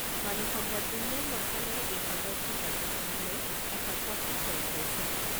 মানৱ সম্পদ উন্নয়ন মন্ত্ৰালয়ে এই সন্দৰ্ভত ৰাজ্যসমূহলৈ এখন পত্ৰ প্ৰেৰণ কৰিছে।